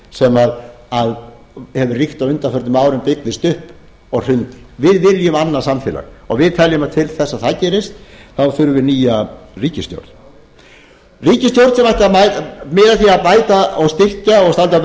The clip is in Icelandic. sem hefur ríkt á undanförnum árum byggðist upp og hrundi við viljum annað samfélag og við teljum að til þess að það gerist þá þurfi nýja ríkisstjórn ríkisstjórn sem ætti að miða að því að bæta og styrkja og standa